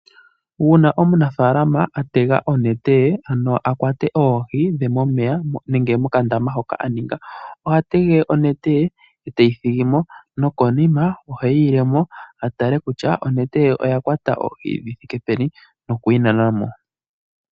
Uuna omunafaalama atega onete ye, ano akwate oohi dhe momeya, nenge mokandama ke mo ka aninga, oha tege onete ye, ete yi thigimo, no konima ohe yi ilemo, atale kutya onete ye oyakwata oohi dhi thike peni, no ku yinanamo.